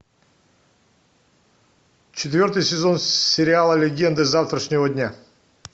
четвертый сезон сериала легенды завтрашнего дня